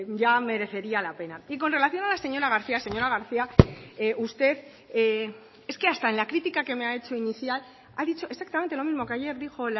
ya merecería la pena y con relación a la señora garcía señora garcía usted es que hasta en la critica que me ha hecho inicial ha dicho exactamente lo mismo que ayer dijo